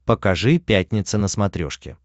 покажи пятница на смотрешке